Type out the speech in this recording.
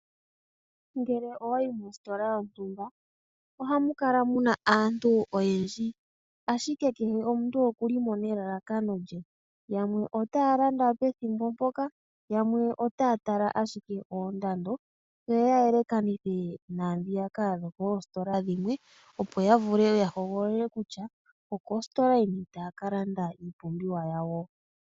Ngele owayi mositola yontumba ohamu kala muna aantu oyendji, ashike kehe omuntu okulimo nelalakano lye . Yamwe otaya landa pethimbo mpoka , yamwe otaya tala ashike oondando yo yayelekanithe naandhoka dhokoosikola dhilwe opo yavule yahogolole kutya okositola yini taya kalanda.